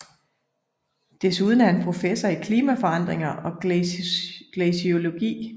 Desuden er han professor i klimaforandringer og glaciologi